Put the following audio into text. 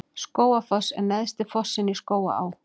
Skógafoss er neðsti fossinn í Skógaá.